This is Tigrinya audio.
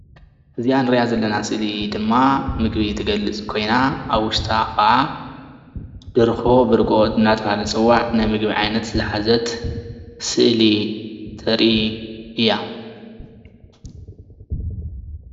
እዛ እንሪአ ዘለና ስእሊ ድማ ምግቢ እትገልፅ ኮይና ኣብ ውሽጣ ከዓ ደርሆ ብርግኦ እንዳተባሃለት እትፅዋዕ ናይ ምግቢ ዓይነት ዝሓዘት ስእሊ እተርኢ እያ፡፡